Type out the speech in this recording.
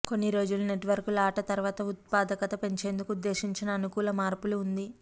కొన్ని రోజులు నెట్వర్క్ లో ఆట తర్వాత ఉత్పాదకత పెంచేందుకు ఉద్దేశించిన అనుకూల మార్పులు ఉంది